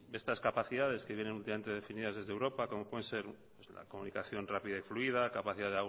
estas capacidades que vienen últimamente definidas desde europa como pueden ser la comunicación rápida y fluida capacidad